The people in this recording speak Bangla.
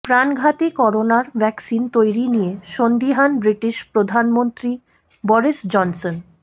প্রাণঘাতী করোনার ভ্যাকসিন তৈরি নিয়ে সন্দিহান ব্রিটিশ প্রধানমন্ত্রী বরিস জনসন